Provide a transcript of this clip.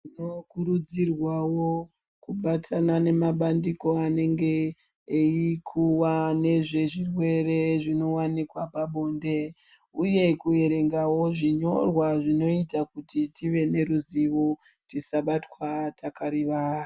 Tinokurudzirwawo kubatana nemabandiko anenge eikuwa nezvezvirwere zvinowanikwa pabonde. Uye kuverengawo zvinyorwa zvinoita kuti tive neruzivo, tisabatwa takarivara.